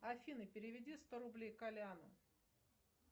афина переведи сто рублей коляну